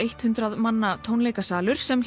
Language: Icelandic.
hundrað manna tónleikasalur sem